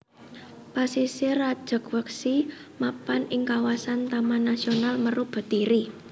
Pasisir Rajegwesi mapan ing kawasan Taman Nasional Meru Betiri